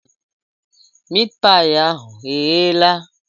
Miit paị ahụ egheela?